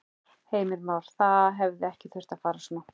Heimir Már: Það hefði ekki þurft að fara svona?